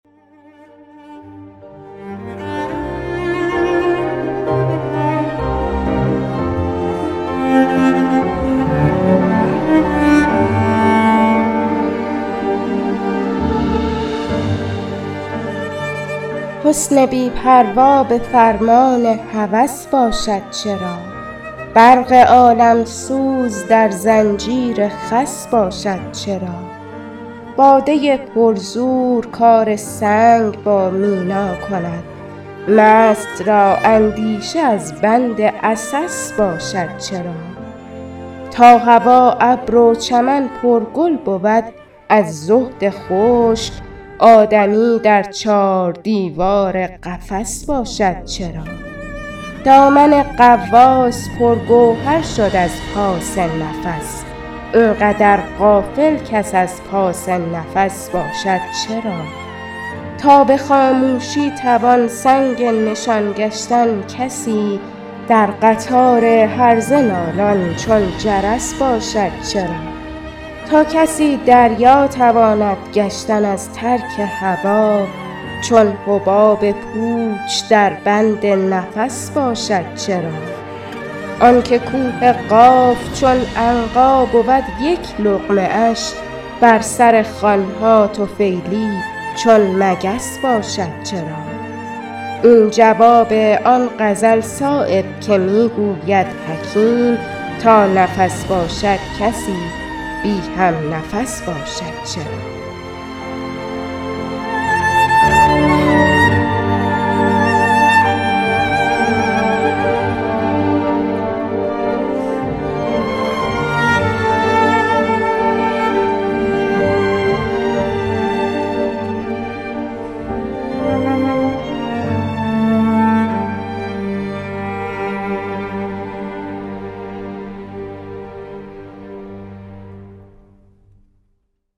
حسن بی پروا به فرمان هوس باشد چرا برق عالمسوز در زنجیر خس باشد چرا باده پر زور کار سنگ با مینا کند مست را اندیشه از بند عسس باشد چرا تا هوا ابر و چمن پر گل بود از زهد خشک آدمی در چار دیوار قفس باشد چرا دامن غواص پر گوهر شد از پاس نفس اینقدر غافل کس از پاس نفس باشد چرا تا به خاموشی توان سنگ نشان گشتن کسی در قطار هرزه نالان چون جرس باشد چرا تا کسی دریا تواند گشتن از ترک هوا چون حباب پوچ در بند نفس باشد چرا آن که کوه قاف چون عنقا بود یک لقمه اش بر سر خوان ها طفیلی چون مگس باشد چرا این جواب آن غزل صایب که می گوید حکیم تا نفس باشد کسی بی همنفس باشد چرا